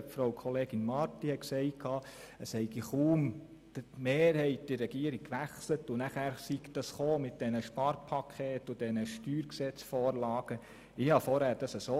Grossrätin Marti hat gesagt, kaum habe die Regierung gewechselt, habe das mit den Sparpaketen und StGVorlagen angefangen.